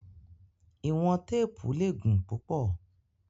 Iwọn teepu le gun pupọ